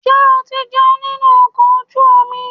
Ṣé o ti jẹun nínú ọkọ̀ ojú omi?